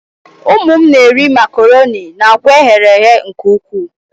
Ụmụ m na-eri macarọnị na akwa eghere eghe nke ukwuu.